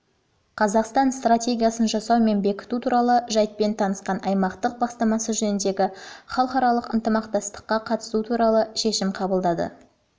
қазақстан стратегиясын жасау және бекіту туралы жайтпен танысқан аймақтық бастамасы жөніндегі халықаралық ынтымақтастыққа қатысу туралы шешім қабылдады